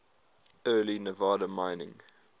early nevada mining